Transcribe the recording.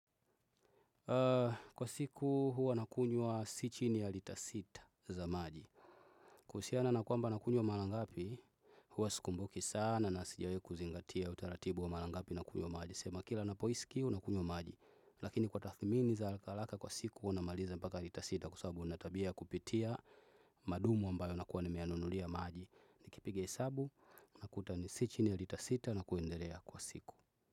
Kwa siku huwa nakunywa si chini ya lita sita za maji. Kuhusiana na kwamba nakunywa mara ngapi huwa sikumbuki sana na sijawahi kuzingatia utaratibu wa mara ngapi nakunywa maji sema kila napohisi kiu nakunywa maji. Lakini kwa tathmini za alaka alaka kwa siku namaliza mpaka lita sita kwa sababu nina tabia ya kupitia madumu ambayo nakuwa nimeyanunulia maji nikipiga hesabu nakuta ni si chini ya lita sita na kuendelea kwa siku.